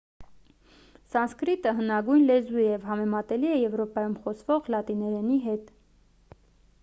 սանսկրիտը հնագույն լեզու է և համեմատելի է եվրոպայում խոսվող լատիներենի հետ